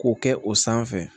K'o kɛ o sanfɛ